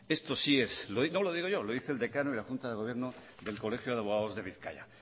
no lo digo yo lo dice el decano y la junta del gobierno del colegio de abogados de bizkaia